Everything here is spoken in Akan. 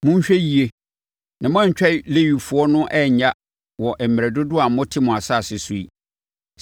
Monhwɛ yie na moantwa Lewifoɔ no annya wɔ mmerɛ dodoɔ a mote mo asase so yi.